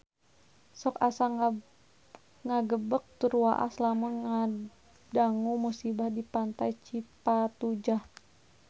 Sok asa ngagebeg tur waas lamun ngadangu musibah di Pantai Cipatujah